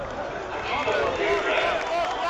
хочу посмотреть драйв